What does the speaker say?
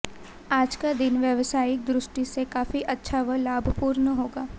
आज का दिन व्यवसायिक दृष्टि से काफी अच्छा व लाभपूर्ण होगा